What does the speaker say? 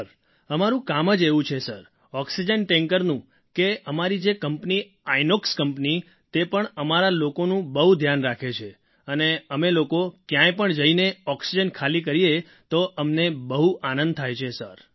sir અમારું કામ જ એવું છે સર ઑક્સિજન ટૅન્કરનું કે અમારી જે કંપની છે ઇનોક્સ કંપની તે પણ અમારા લોકોનું બહુ ધ્યાન રાખે છે અને અમે લોકો ક્યાંય પણ જઈને ઑક્સિજન ખાલી કરીએ તો અમને બહુ આનંદ થાય છે સર